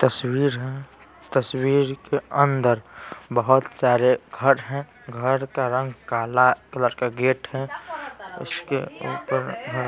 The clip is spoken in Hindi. तस्वीर हैं तस्वीर के अंदर बहुत सारे घर हैं घर का रंग काला कलर का गेट है उसके ऊपर--